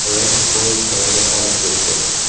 Ayol poyezd tagida qolib ketdi.